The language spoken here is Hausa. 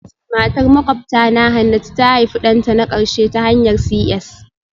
Matar makwabtana Hannatu ta haifi ɗanta na ƙarshe ta hanyar CS